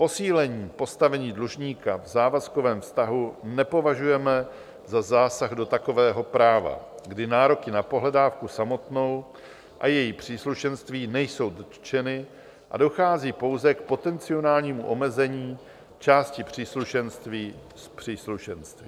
Posílení postavení dlužníka v závazkovém vztahu nepovažujeme za zásah do takového práva, kdy nároky na pohledávku samotnou a její příslušenství nejsou dotčeny a dochází pouze k potenciálnímu omezení části příslušenství s příslušenstvím.